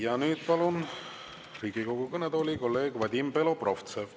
Ja nüüd palun Riigikogu kõnetooli kolleeg Vadim Belobrovtsevi.